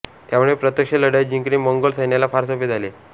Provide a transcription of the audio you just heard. त्यामुळे प्रत्यक्ष लढाई जिंकणे मंगोल सैन्याला फार सोपे जाई